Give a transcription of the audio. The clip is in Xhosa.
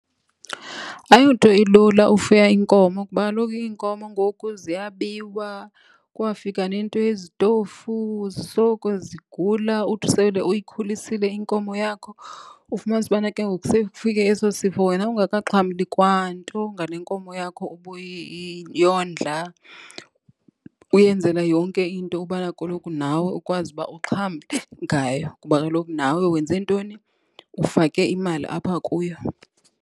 Ayonto elule ufuya inkomo kuba kaloku iinkomo ngoku ziyabiwa, kwafika nento yezitofu zisoloko zigula. Uthi sele uyikhulisile inkomo yakho ufumanise ubana ke ngoku sekufike eso sifo wena ungakaxhamli kwanto ngale inkomo yakho ubuyondla, uyenzela yonke into ukubana koloku nawe ukwazi uba uxhamle ngayo. Kuba kaloku nawe wenze ntoni, ufake imali apha kuyo.